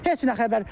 Heç nə xəbər.